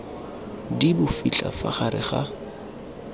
di bofitlha fa gare ga